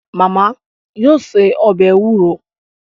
Màmá yóò se ọbẹ̀ ewúro